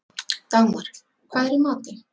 Dagmar, hvað er í matinn?